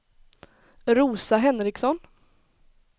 Rosa Henriksson